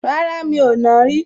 Rárá, mi ò nàá rí